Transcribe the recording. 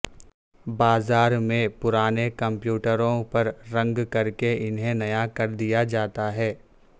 بازار میں پرانے کمپیوٹروں پر رنگ کر کے انہیں نیا کر دیا جاتا ہے